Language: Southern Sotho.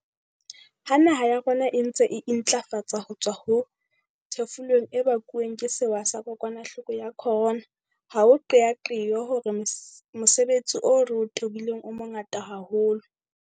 Ha naha ya rona e ntse e intlafatsa ho tswa ho thefulong e bakuweng ke sewa sa kokwanahloko ya corona, ha o qeaqeo hore mosebetsi o re o tobileng o mongata haholo.